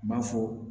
N b'a fɔ